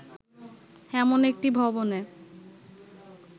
এমন একটি ভবনে